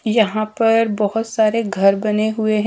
यहां पर बहोत सारे घर बने हुए हैं।